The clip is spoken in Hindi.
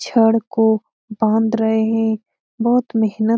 छड़ को बांध रहे है बहुत मेहनत --